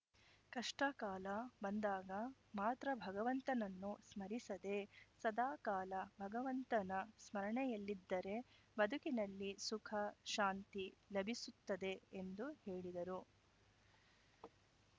ಕಷ್ಟಕಾಲ ಬಂದಾಗ ಮಾತ್ರ ಭಗವಂತನನ್ನು ಸ್ಮರಿಸದೇ ಸದಾ ಕಾಲ ಭಗವಂತನ ಸ್ಮರಣೆಯಲ್ಲಿದ್ದರೆ ಬದುಕಿನಲ್ಲಿ ಸುಖ ಶಾಂತಿ ಲಭಿಸುತ್ತದೆ ಎಂದು ಹೇಳಿದರು